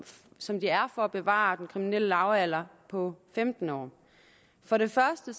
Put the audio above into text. som de er for at bevare den kriminelle lavalder på femten år for det første